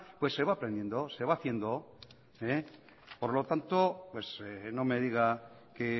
pues se va aprendiendo se va haciendo por lo tanto pues no me diga que